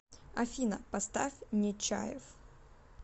афина поставь нечаев